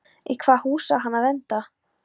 Í hvaða hús á hann að venda?